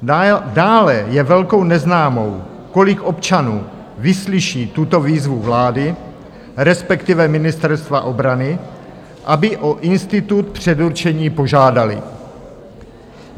Dále je velkou neznámou, kolik občanů vyslyší tuto výzvu vlády, respektive Ministerstva obrany, aby o institut předurčení požádali.